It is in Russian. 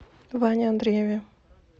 ване андрееве